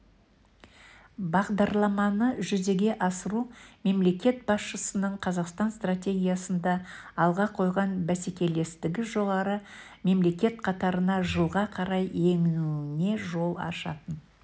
бағдарламаны жүзеге асыру мемлекет басшысының қазақстан стратегиясында алға қойған бәсекелестігі жоғары мемлекет қатарына жылға қарай енуіне жол ашатын